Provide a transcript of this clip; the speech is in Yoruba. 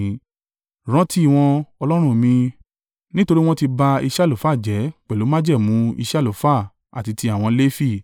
Rántí wọn, Ọlọ́run mi, nítorí wọ́n ti ba iṣẹ́ àlùfáà jẹ́ pẹ̀lú májẹ̀mú iṣẹ́ àlùfáà àti ti àwọn Lefi.